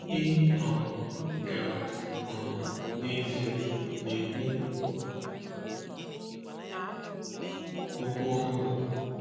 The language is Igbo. Ị um ga, um n’ezie, na-ekwu okwu n’ọhụrụ.”